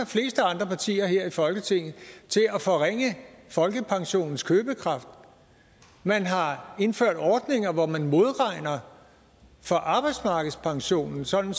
partier her i folketinget til at at forringe folkepensionens købekraft man har indført ordninger hvor man modregner for arbejdsmarkedspensionen sådan